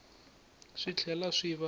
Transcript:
swi tlhela swi va na